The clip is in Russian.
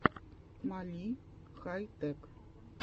мали хай тэк